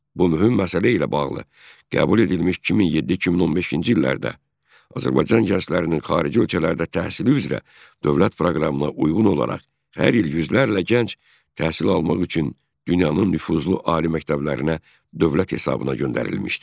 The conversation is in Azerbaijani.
Bu mühüm məsələ ilə bağlı qəbul edilmiş 2007-2015-ci illərdə Azərbaycan gənclərinin xarici ölkələrdə təhsili üzrə dövlət proqramına uyğun olaraq hər il yüzlərlə gənc təhsil almaq üçün dünyanın nüfuzlu ali məktəblərinə dövlət hesabına göndərilmişdir.